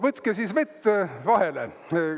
Võtke siis vett vahele.